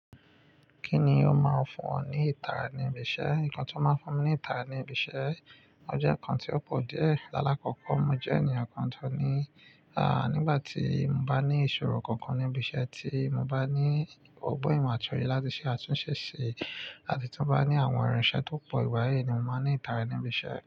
Kíni ó máa ń fún ọ ní ìtara ní ibi iṣẹ́? Nǹkan tí ó máa ń fún mi ní ìtara ní ibi iṣẹ́ jẹ́ nǹkan tí ó pọ̀ díẹ̀. Lálákọkọ, mo jẹ́ ènìyàn kan tó ní, à, nígbà tí mo bá ní ìṣòro kankan níbi iṣẹ́ tí mo bá ní ọgbọ́n ìmọ̀ àti òye láti ṣe àtúnṣe ṣe àbí tí mo bá ní àwọn iranṣẹ́ tó pọ̀ ìgbàyìí ni mo máa ní ìtara ní ibi iṣẹ́.